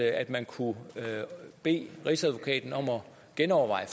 at man kunne bede rigsadvokaten om at genoverveje